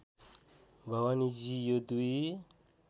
भवानीजी यो दुई